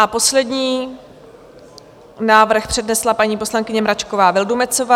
A poslední návrh přednesla paní poslankyně Mračková Vildumetzová.